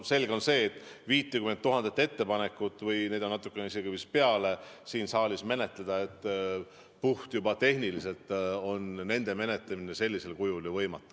Selge on see, et 50 000 ettepanekut – neid on natukene isegi vist rohkem – siin saalis juba puhttehniliselt menetleda sellisel kujul on ju võimatu.